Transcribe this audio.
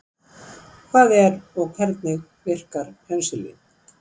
Hvað er og hvernig verkar penisilín?